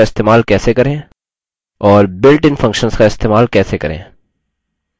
और built in functions का इस्तेमाल कैसे करें